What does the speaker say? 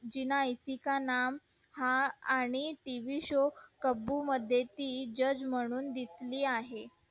तिला का नाम हा आणि tvshow मध्ये ती judge म्हणून दिसली आहे